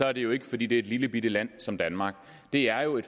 er det jo ikke fordi det er et lillebitte land som danmark det er jo